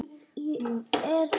Nú sé ég eftir því.